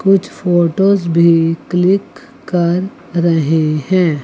कुछ फोटोज भी क्लिक कर रहें हैं।